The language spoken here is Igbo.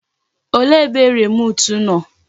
Olee ebe remut nọ?